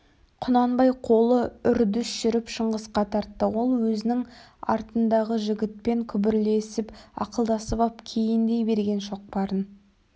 құнанбай қолы үрдіс жүріп шыңғысқа тартты ол өзінің артындағы жігітпен күбірлесіп ақылдасып ап кейіндей берген шоқпарын